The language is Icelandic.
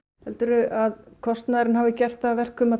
heldurðu að kostnaðurinn hafi gert það að verkum að